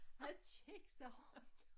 Han kiggede sig rundt